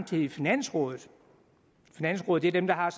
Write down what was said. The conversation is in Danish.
til finansrådet finansrådet er dem der har